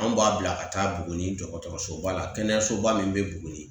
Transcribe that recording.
Anw b'a bila ka taa Buguni dɔgɔtɔrɔsoba la, kɛnɛyasoba min be Buguni.